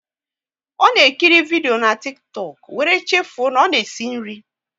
Ọ na ekiri vidio na Tiktọk, wéré chefuo na ọ na-esi nri